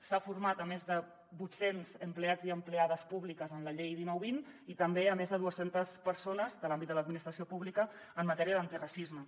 s’han format més de vuit cents empleats i empleades públiques en la llei dinou vint i també més de dues centes persones de l’àmbit de l’administració pública en matèria d’antiracisme